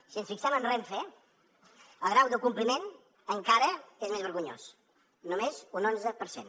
si ens fixem en renfe el grau de compliment encara és més vergonyós només un onze per cent